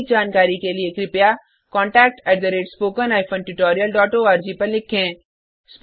अधिक जानकारी के लिए contactspoken tutorialorg पर लिखें